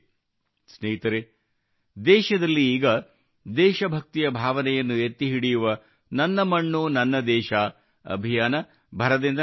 ಸ್ನೇಹಿತರೇ ದೇಶದಲ್ಲಿ ಈಗ ದೇಶಭಕ್ತಿಯ ಭಾವನೆಯನ್ನು ಎತ್ತಿ ಹಿಡಿಯುವ ನನ್ನ ಮಣ್ಣು ನನ್ನ ದೇಶ ಮೇರೀ ಮಾಟೀ ಮೇರಾ ದೇಶ್ ಅಭಿಯಾನ ಭರದಿಂದ ನಡೆಯುತ್ತಿದೆ